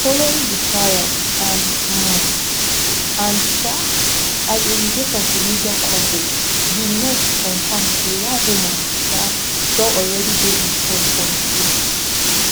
following di trial and um and um as a result of di media coverage di met confam say one woman um don alreadi dey in touch on zou